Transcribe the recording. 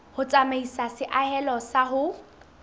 ho tsamaisa seahelo sa ho